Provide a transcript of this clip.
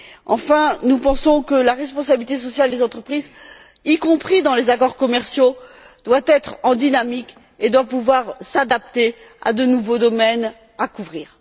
Enfin, nous pensons que la responsabilité sociale des entreprises, y compris dans les accords commerciaux, doit être en dynamique et doit pouvoir s'adapter à de nouveaux domaines à couvrir.